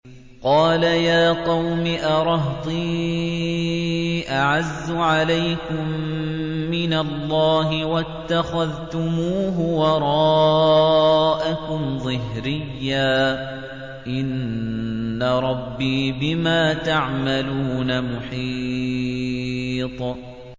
قَالَ يَا قَوْمِ أَرَهْطِي أَعَزُّ عَلَيْكُم مِّنَ اللَّهِ وَاتَّخَذْتُمُوهُ وَرَاءَكُمْ ظِهْرِيًّا ۖ إِنَّ رَبِّي بِمَا تَعْمَلُونَ مُحِيطٌ